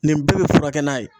Nin bɛɛ be furakɛ n'a ye